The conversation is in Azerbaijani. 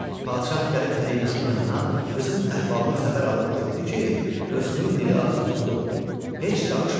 Padşah gəlib Pərinuşun yanına, qızın əhvalını xəbər alıb gördü ki, qızının dili ağzı tutulub, heç danışmır.